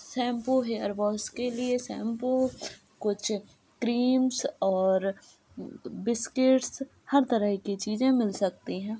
Shampoo hair wash के लिए shampoo कुछ क्रीम्स और बिस्किट्स हर तरह की चीजें मिल सकती हैं।